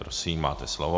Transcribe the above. Prosím, máte slovo.